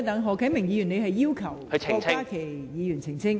何啟明議員，你要求郭家麒議員澄清？